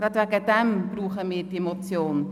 Deshalb brauchen wir die Motion.